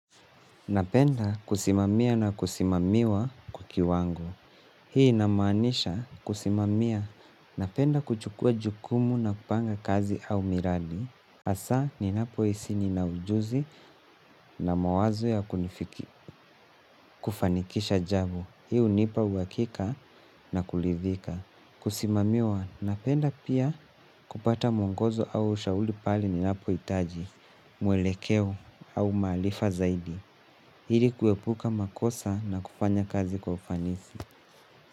Napenda kusimamia na kusimamiwa kwa kiwango. Hii inamanisha kusimamia. Napenda kuchukua jukumu na kupanga kazi au miradi. Hasa ni napo hisi nina ujuzi na mawazo ya kufanikisha jambo. Hii hunipa uhakika na kuridhika. Kusimamiwa na penda pia kupata mwongozo au ushauri pale ninapohitaji mwelekeo au maarifa zaidi ili kuepuka makosa na kufanya kazi kwa ufanisi.